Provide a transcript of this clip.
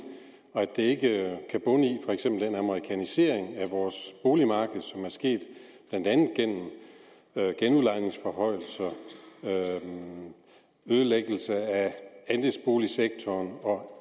og at det ikke kan bunde i for eksempel den amerikanisering af vores boligmarked som er sket blandt andet gennem genudlejningsforhøjelser ødelæggelse af andelsboligsektoren og